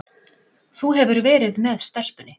Þú hefur verið með stelpunni.